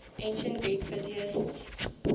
ancient greek physicists